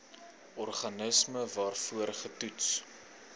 organisme waarvoor getoets